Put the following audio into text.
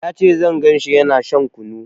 Ya ce zan ganshi yana shan kunu